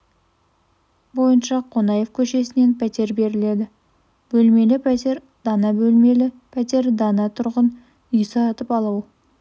бойынша қонаев көшесінен пәтер беріледі бөлмелі пәтер дана бөлмелі пәтер дана тұрғын үй сатып алу